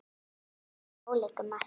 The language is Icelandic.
Svörin eru ólík um margt.